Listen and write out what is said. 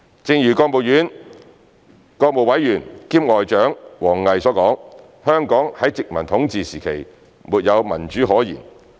正如國務委員兼外長王毅所說，香港在殖民統治時期沒有民主可言。